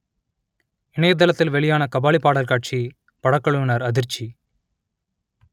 இணையதளத்தில் வெளியான கபாலி பாடல் காட்சி படக்குழுவினர் அதிர்ச்சி